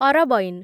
ଅରବଈନ୍